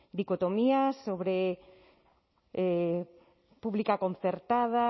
dicotomía sobre pública concertada